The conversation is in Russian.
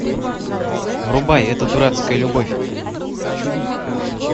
врубай эта дурацкая любовь